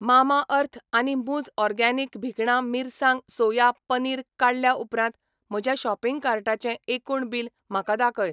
Mamaearth आनी मुझ organic भिकणा मिरसांग सोया पनीर काडल्या उपरांत म्हज्या शॉपिंग कार्टाचें एकूण बिल म्हाका दाखय.